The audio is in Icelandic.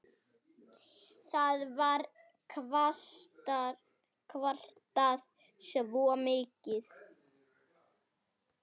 Það var kvartað svo mikið.